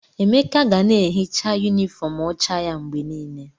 Emeka ga na-ehicha yunifọọm ọcha ya mgbe niile.